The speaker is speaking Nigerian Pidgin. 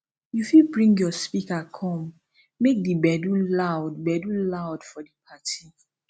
you fit bring your speaker come make di gbedu loud gbedu loud for di party